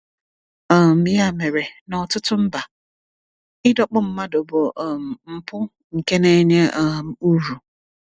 um Ya mere, n’ọtụtụ mba, ịdọkpụ mmadụ bụ um mpụ nke na-enye um uru.